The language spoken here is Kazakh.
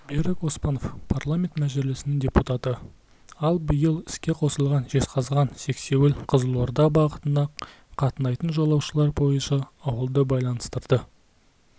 берік оспанов парламент мәжілісінің депутаты ал биыл іске қосылған жезқазған-сексеуіл-қызылорда бағытына қатынайтын жолаушылар пойызы ауылды байланыстырды